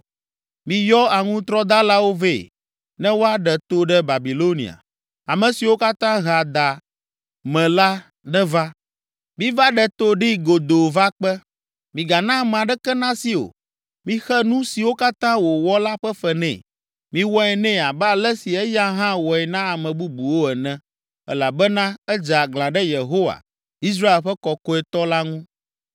“Miyɔ aŋutrɔdalawo vɛ, ne woaɖe to ɖe Babilonia, ame siwo katã hea da me la neva. Miva ɖe to ɖee godoo va kpe, migana ame aɖeke nasi o. Mixe nu siwo katã wòwɔ la ƒe fe nɛ, miwɔe nɛ abe ale si eya hã wɔe na ame bubuwo ene. Elabena edze aglã ɖe Yehowa, Israel ƒe Kɔkɔetɔ la ŋu.